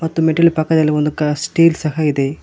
ಮತ್ತು ಮೆಟ್ಟಿಲು ಪಕ್ಕದಲಿ ಒಂದು ಕ ಸ್ಟೀಲ್ ಸಹ ಇದೆ.